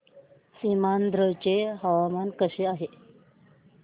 सीमांध्र चे हवामान कसे आहे